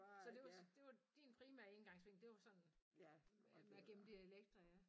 Så det var det var din primære indgangsvinkel det var sådan med at gemme dialekter ja